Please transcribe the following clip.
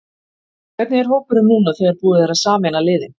Hvernig er hópurinn núna þegar búið er að sameina liðin?